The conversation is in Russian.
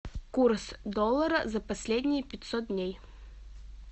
курс доллара за последние пятьсот дней